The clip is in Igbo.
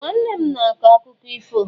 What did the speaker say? Ee! Nwanne m ma akọ akụkọ ifo.